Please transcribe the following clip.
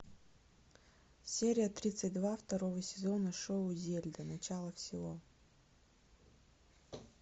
серия тридцать два второго сезона шоу зельда начало всего